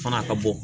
Fana a ka bɔ